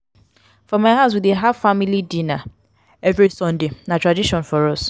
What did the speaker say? for my house we dey have family dinner every sunday na tradition for us.